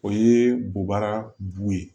O ye bubara bu ye